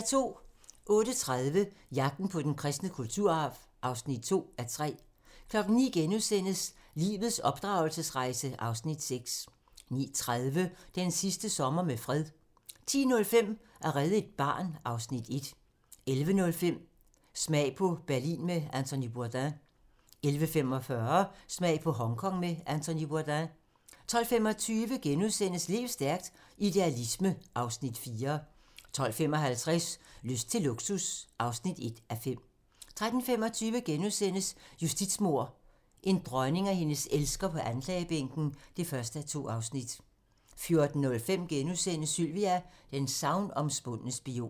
08:30: Jagten på den kristne kulturarv (2:3) 09:00: Lives opdragelsesrejse (Afs. 6)* 09:30: Den sidste sommer med fred 10:05: At redde et barn (Afs. 1) 11:05: Smag på Berlin med Anthony Bourdain 11:45: Smag på Hongkong med Anthony Bourdain 12:25: Lev stærkt - Idealisme (Afs. 4)* 12:55: Lyst til luksus (1:5) 13:25: Justitsmord - en dronning og hendes elsker på anklagebænken (1:2)* 14:05: Sylvia: den sagnomspundne spion *